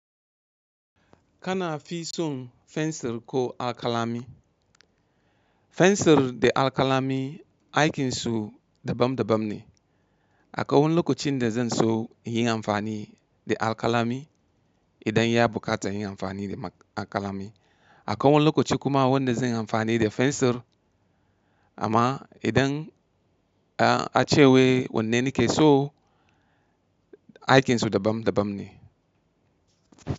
Kana fi son fensir ko alkalami? Fensir da alkalami aikinsu dabam dabam ne. Akawun lokacin da zan so in yi amfani da alkalami idan ya bukata yin amfani da alkalami. Akawun lokaci kuma wanda zan yi amfani da fensir. Amma idan a ce wai wanne ne ke so, aikinsu dabam dabam ne.